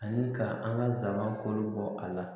Ani ka an ka saga kɔ a la